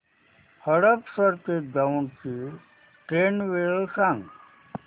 हडपसर ते दौंड ची ट्रेन वेळ सांग